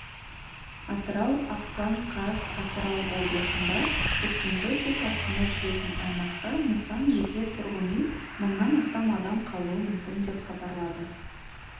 атырау ақпан қаз атырау облысында көктемгі су тасқыны жүретін аймақта нысан жеке тұрғын үй мыңнан астам адам қалуы мүмкін деп хабарлады